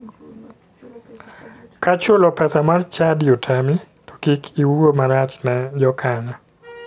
Ka chulo pesa mar chadi otami to kik iwuo marach ne jokanyo.